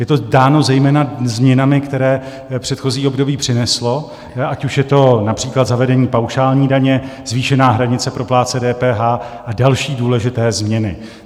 Je to dáno zejména změnami, které předchozí období přineslo, ať už je to například zavedení paušální daně, zvýšená hranice pro plátce DPH a další důležité změny.